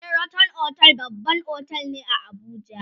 sheraton otel babban otel ne a Abuja